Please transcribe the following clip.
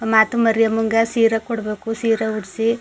ಮಾತು ಮರಿಯಮ್ಮಗೆ ಸೀರೆ ಕೊಡಬೇಕು ಸೀರೆ ಉಡಸಿ.